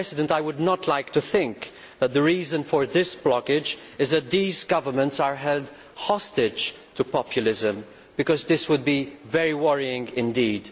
I would not like to think that the reason for the blockage is that these governments are held hostage to populism, because that would be very worrying indeed.